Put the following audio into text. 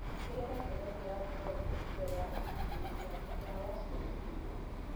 Tigĩrĩra nĩũrekĩra glovu mbere ya kúhuhíra ndawa cia mũgunda.